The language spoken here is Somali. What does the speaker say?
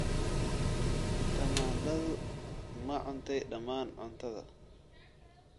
Tamaandhadu ma cuntay dhammaan cuntada?